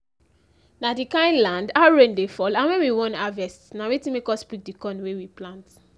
na the kind land how rain dey fall and when we wan harvest na wetin make us pick the corn wey we plant.